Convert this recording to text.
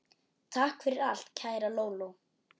Takk fyrir allt, kæra Lóló.